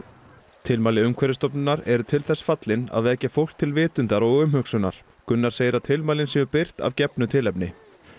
tilmæli Umhverfisstofnunar eru til þess fallin að vekja fólk til vitundar og umhugsunar Gunnar segir að tilmælin séu birt að gefnu tilefni